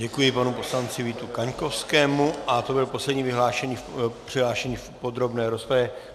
Děkuji panu poslanci Vítu Kaňkovskému a to byl poslední přihlášený v podrobné rozpravě.